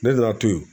Ne nana to yen